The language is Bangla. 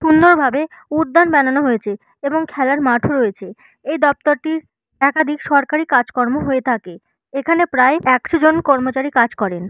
সুন্দর ভাবে উদ্যান বানানো হয়েছে এবং খেলার মাঠ ও রয়েছে । এই দপ্তরটির একাধিক সরকারি কাজকর্ম হয়ে থাকে এখানে প্রায় একশো জন কর্মচারী কাজ করেন।